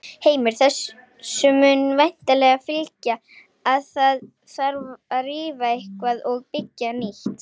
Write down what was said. Heimir: Þessu mun væntanlega fylgja að það þarf að rífa eitthvað og byggja nýtt?